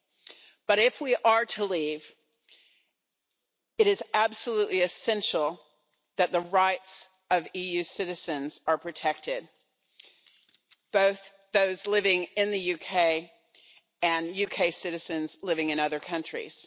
However, if we are to leave, it is absolutely essential that the rights of EU citizens are protected, both those living in the UK and UK citizens living in other countries.